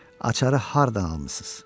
Açar hardan almısınız?